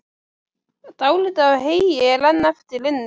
Dálítið af heyi er enn eftir inni.